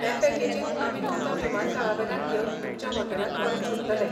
हे पॅकेजींत आमी तुमकां विमानतळावेल्यान घेवन तुमच्या हॉटेलांत परत सोडटले.